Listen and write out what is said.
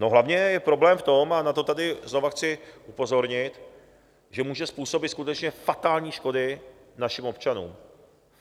No hlavně je problém v tom, a na to tady znovu chci upozornit, že může způsobit skutečně fatální škody našim občanům.